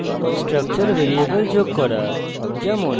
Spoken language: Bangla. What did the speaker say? structure ভ্যারিয়েবল যোগ করা